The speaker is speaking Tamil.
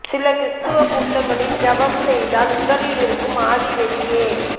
சில கிறிஸ்துவ கூட்டங்களில் ஜெபம் செய்தால் உடலில் இருக்கும் ஆவி வெளியே